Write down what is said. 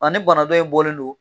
Ani bana dɔ in bɔlen don